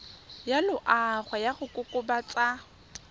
ya loago ya go kokobatsa